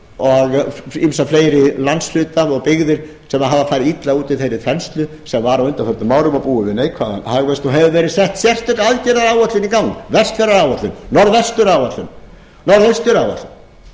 og ýmsa fleiri landshluta og byggðir sem hafa farið illa út úr þeirri þenslu sem var á undanförnum árum og búa við neikvæðan hagvöxt og hefur verið sett sérstök aðgerðaáætlun í gang vestfjarðaáætlun norðvestur áætlun norðaustur álætlun einnig eru